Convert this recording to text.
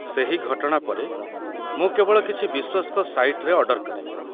ସେହି ଘଟଣା ପରେ, ମୁଁ କେବଳ କିଛି ବିଶ୍ୱସ୍ତ ସାଇଟ୍‌ରେ ଅର୍ଡର କରେ।